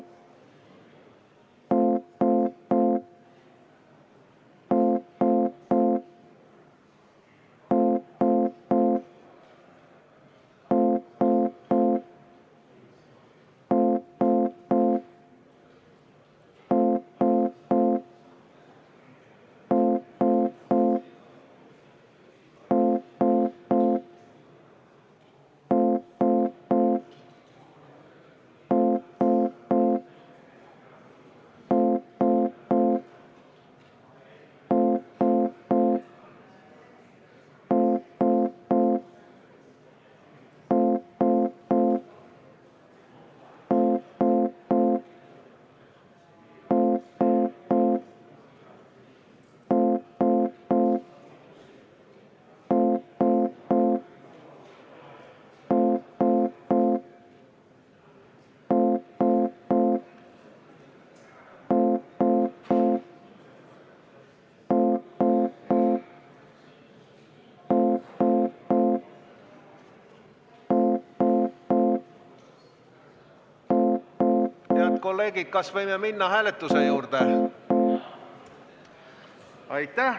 Head kolleegid, kas võime minna hääletuse juurde?